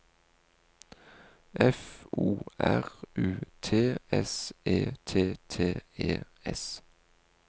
F O R U T S E T T E S